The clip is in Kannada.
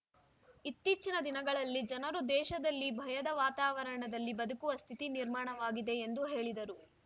ಇತ್ತೀಚಿನ ದಿನಗಳಲ್ಲಿ ಜನರು ದೇಶದಲ್ಲಿ ಭಯದ ವಾತಾವರಣದಲ್ಲಿ ಬದುಕುವ ಸ್ಥಿತಿ ನಿರ್ಮಾಣವಾಗಿದೆ ಎಂದು ಹೇಳಿದರು